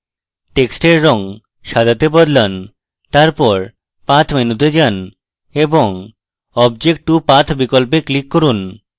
টেক্সটের রঙ সাদাতে বদলান তারপর path menu তে যান এবং object to path বিকল্পে click করুন